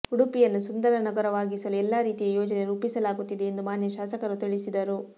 ಉಡುಪಿಯನ್ನು ಸುಂದರ ನಗರವಾಗಿಸಲು ಎಲ್ಲಾ ರೀತಿಯ ಯೋಜನೆ ರೂಪಿಸಲಾಗುತ್ತಿದೆ ಎಂದು ಮಾನ್ಯ ಶಾಸಕರು ತಿಳಿಸಿದರು